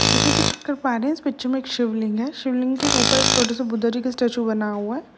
जैसे की इस पिच्च में एक शिवलिंग है। शिवलिंग के ऊपर एक छोटा सा बुद्धा जी का स्टेच्यू बना हुआ है।